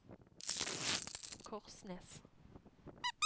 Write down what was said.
Korsnes